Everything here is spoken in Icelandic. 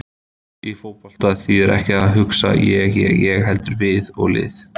Í fótbolta þýðir ekkert að hugsa ég- ég- ég heldur við og lið.